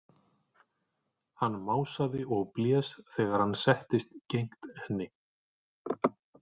Hann másaði og blés þegar hann settist gegnt henni.